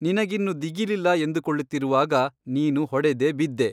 ನಿನಗಿನ್ನು ದಿಗಿಲಿಲ್ಲ ಎಂದುಕೊಳ್ಳುತ್ತಿರುವಾಗ ನೀನು ಹೊಡೆದೆ ಬಿದ್ದೆ.